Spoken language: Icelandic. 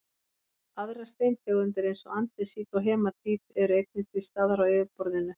aðrar steintegundir eins og andesít og hematít eru einnig til staðar á yfirborðinu